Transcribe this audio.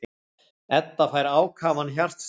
Edda fær ákafan hjartslátt.